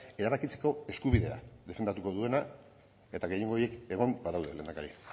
erabakitzeko eskubidea defendatuko duena eta gehiengo horiek egon badaude lehendakari